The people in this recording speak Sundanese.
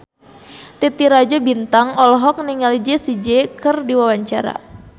Titi Rajo Bintang olohok ningali Jessie J keur diwawancara